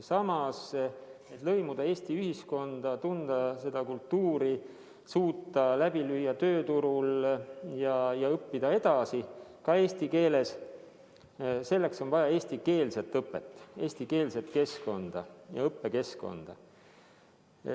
Samas, selleks et lõimuda Eesti ühiskonda, tunda seda kultuuri, suuta läbi lüüa tööturul ja õppida edasi, ka eesti keeles, on vaja eestikeelset õpet, eestikeelset keskkonda, sh õppekeskkonda.